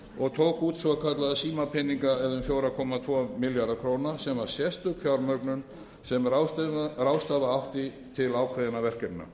og tók út svokallaða símapeninga eða um fjóra komma tvo milljarða króna sem var sérstök fjármögnun sem ráðstafa átti til ákveðinna verkefna